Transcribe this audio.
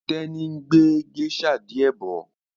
Teni ngbé geisha diẹ bó